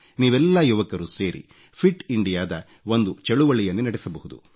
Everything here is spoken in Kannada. ನೀವೆಲ್ಲಾ ಯುವಕರು ಸೇರಿ ಫಿಟ್ ಇಂಡಿಯಾ ದ ಒಂದು ಚಳುವಳಿಯನ್ನೇ ನಡೆಸಬಹುದು